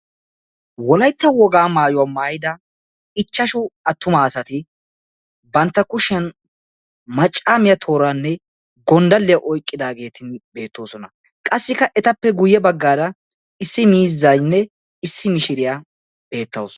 Wolaytta wogaa maayuwa maayida 5 attuma asati bantta kushiyan maccaamiya tooraanne goddalliya oyqqidaageeti beettoosona. Qassikka etappe guyye baggaara issi miizzaynne issi mishiriya beettawusu.